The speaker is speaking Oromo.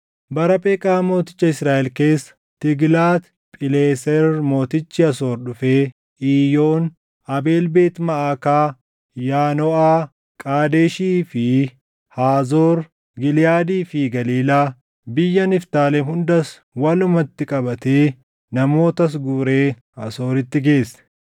Bara Pheqaa mooticha Israaʼel keessa Tiiglaat Phileeser mootichi Asoor dhufee Iiyoon, Abeel Beet Maʼaakaa, Yaanoʼaa, Qaadeshii fi Haazoor, Giliʼaadii fi Galiilaa, biyya Niftaalem hundas walumatti qabatee namootas guuree Asooritti geesse.